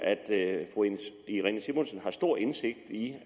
at fru irene simonsen har stor indsigt i